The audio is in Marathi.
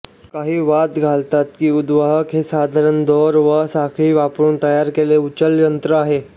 काही वाद घालतात की उद्वाहक हे साधारण दोर वा साखळी वापरुन तयार केलेले उचलयंत्र आहे